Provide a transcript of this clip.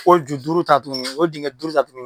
O ju duuru ta tuguni o dingɛ duuru ta tuguni